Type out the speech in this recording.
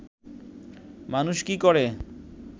মানুষ কি করে